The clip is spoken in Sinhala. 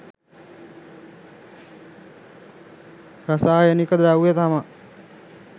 රසායනික ද්‍රව්‍ය තමා